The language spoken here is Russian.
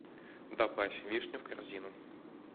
добавь вишню в корзину